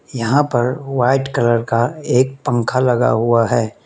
यहां पर white colour का एक पंख लगा हुआ है।